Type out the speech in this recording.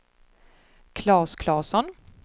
Klas Claesson